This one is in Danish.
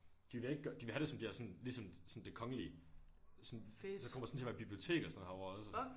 De vil ikke gøre de vil have det som de har sådan ligesom sådan det kongelige sådan der kommer sådan bibliotek og sådan noget herovre også